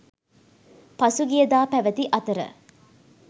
පසුගිය දා පැවති අතර